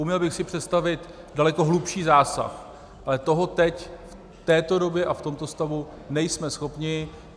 Uměl bych si představit daleko hlubší zásah, ale toho teď v této době a v tomto stavu nejsme schopni.